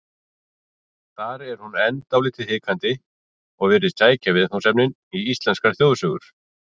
Þar er hún enn dálítið hikandi og virðist sækja viðfangsefnin í íslenskar þjóðsögur.